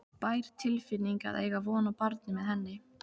bær tilfinning að eiga von á barni með henni.